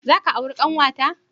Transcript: Za ka auri ƙanwata?